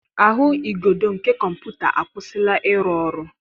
Ahụigodo nke kọmputa akwụsịla ịrụ ọrụ.